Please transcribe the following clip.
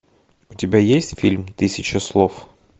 у тебя есть фильм тысяча слов